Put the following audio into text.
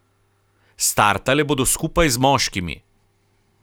Startale bodo skupaj z moškimi.